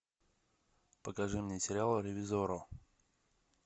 покажи мне сериал ревизорро